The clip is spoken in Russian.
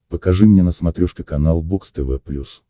покажи мне на смотрешке канал бокс тв плюс